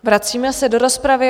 Vracíme se do rozpravy.